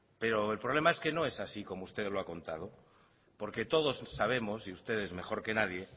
pero el problema es que no es así como usted lo ha contado porque todos sabemos y ustedes mejor que nadie